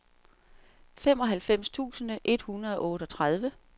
femoghalvfems tusind et hundrede og otteogtredive